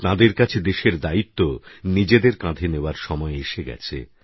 তাঁদের কাছে দেশের দায়িত্ব নিজেদের কাঁধে নেওয়ার সময় এসে গেছে